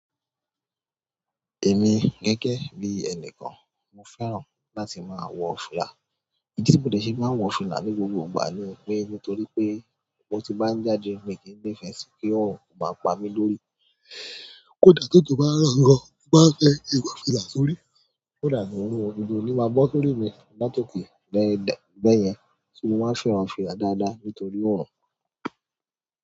Èmi gẹ́gẹ́ bí ẹni kan, mo fẹ́ràn láti máa wọ fìlà. Ìdí tí mo dẹ ṣe máa n wọ fìlà ní gbogbo ìgbà ni pé nítorí pé mo ti máa ń jáde mi kì í ní ìfẹ́ sí kí òòrùn kó máa pa mí lórí. Kódà tó jò bá n rọ̀ lọwọ, mo maá n fẹ́ ki n wọ̀ fìlà sórí, so that òòrùn-- òjò o níí máa bọ́ sórí mi latoke bẹ́ẹ̀ bẹ́ẹ̀ yẹn, ṣo mo máa fẹ́ràn fìlà dáadáa nítorí òòrùn?